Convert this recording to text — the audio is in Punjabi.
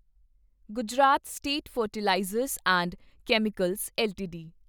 Gujarat state fertilizers and chemicals LTD